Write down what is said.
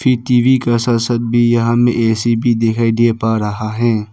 TV का साथ साथ भी यहाँ में ए_सी दिखाई दे पा रहा है।